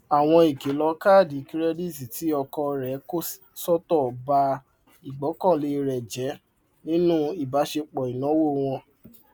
àwọn ìkìlọ kaadi kirẹditi tí ọkọ rẹ kò sọtọ bá ìgbọkànlé rẹ jẹ nínú ìbáṣepọ ináwó wọn